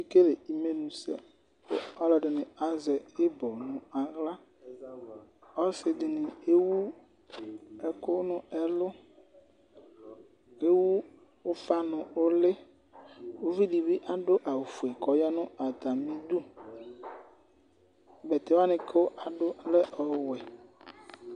ɔkekele Amenu sɛ ku ɔlɔdi ni azɛ ibɔ nu aɣy, ɔsi dini ewu ɛku nu ɛlu, ewu ufa nu uli , ivi di bi adu awu fue ku ɔya nu ata mi du, bɛtɛ wʋani ku adu ɔlɛ ɔwɛ